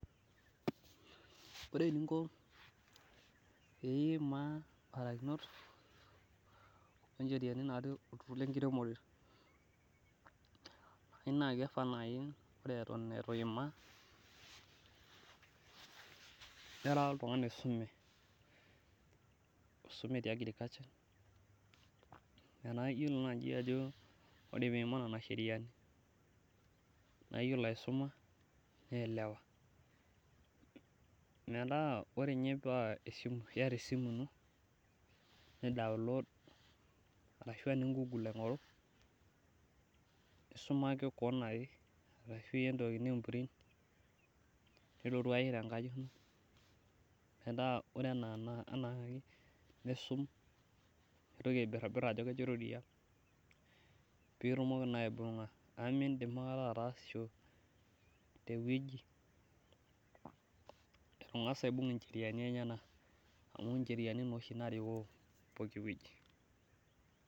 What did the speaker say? ore eninko pee imaa ibarakinot oocherianii tolturur lenkiremore naa kifaa naji naa ore eton etu imaa nira oltungani oisume, te agriculture iyiolo nadii ajo ore pee imaa nena sheriani naa iyiolo aisum niyelewa, metaa ore ninye paa iyata esimu ino ni download nisum pee itumoki naa aibuga amu miidim aikata atasisho teweji etungas ayiolou icheriani ennyenak.